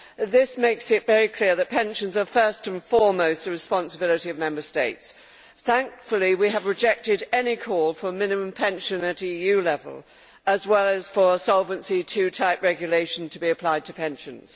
This makes it very clear that pensions are, first and foremost, the responsibility of Member States. Thankfully, we have rejected any call for a minimum pension at EU level, as well as for a Solvency II type regulation to be applied to pensions.